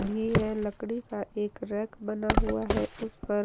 भी है लकड़ी का एक रैक बना हुआ है उस पर।